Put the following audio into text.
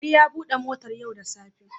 Ali ya bude motar yau da tsafe.